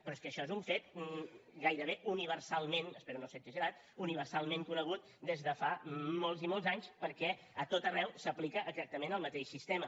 però és que això és un fet gairebé universalment espero no ser exagerat conegut des de fa molts i molts anys perquè a tot arreu s’aplica exactament el mateix sistema